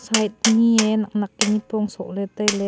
higt ni e nak nak ke nipong soh ley tai ley.